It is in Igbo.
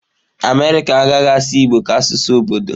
America agaghị asụ igbo ka asụsụ obodo.